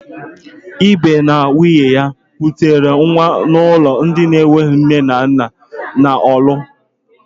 Ibe na nwunye ya kutere nwa n'ụlọ ndị enweghị nne na nna dị na Ọlụ.